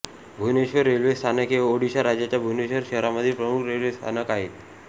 Bhubaneswar railway स्थानक हे ओडिशा राज्याच्या भुवनेश्वर शहरामधील प्रमुख रेल्वे स्थानक आहे